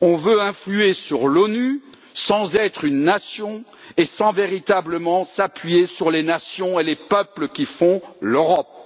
on veut influer sur l'ONU sans être une nation et sans véritablement s'appuyer sur les nations et les peuples qui font l'Europe.